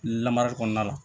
Lamarali kɔnɔna la